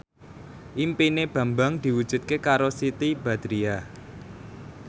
impine Bambang diwujudke karo Siti Badriah